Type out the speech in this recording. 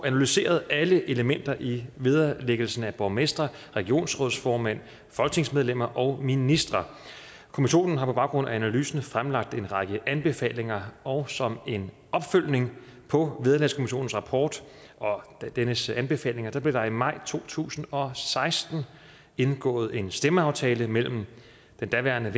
analyseret alle elementer i vederlæggelsen af borgmestre regionsrådsformænd folketingsmedlemmer og ministre kommissionen har på baggrund af analysen fremlagt en lang række anbefalinger og som en opfølgning på vederlagskommissionens rapport og dennes anbefalinger blev der i maj to tusind og seksten indgået en stemmeaftale mellem den daværende